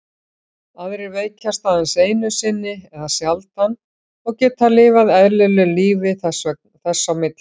Aðrir veikjast aðeins einu sinni eða sjaldan og geta lifað eðlilegu lífi þess á milli.